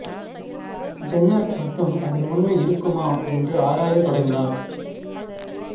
Jenner மட்டும் அதில் உண்மை இருக்குமா என்று ஆராயத் தொடங்கினார்